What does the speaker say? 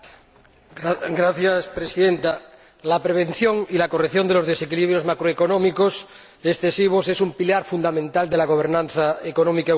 Señora Presidenta, la prevención y la corrección de los desequilibrios macroeconómicos excesivos son un pilar fundamental de la gobernanza económica europea